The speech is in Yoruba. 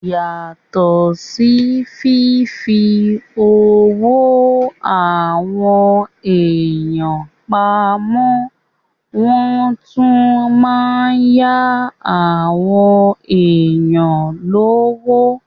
Yàtọ̀ sí fífi owó àwọn èèyàn pamọ́, wọ́n tún má n yá àwọn èèyàn lówó